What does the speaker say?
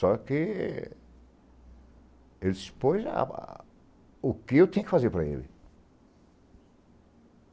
Só que... Ele se expôs... Ah, o que eu tinha que fazer para ele?